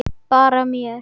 Bara mér.